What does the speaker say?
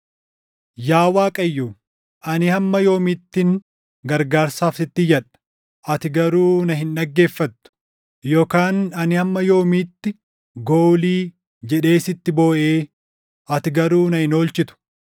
Yaa Waaqayyo, ani hamma yoomiittin gargaarsaaf // sitti iyyadha? Ati garuu na hin dhaggeeffattu; yookaan ani hamma yoomiitti, “Goolii!” jedhee sitti booʼee ati garuu na hin oolchitu?